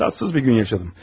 Xoşagəlməz bir gün yaşadım.